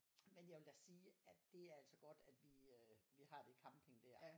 Men jeg vil da sige at det er altså godt at vi har det camping der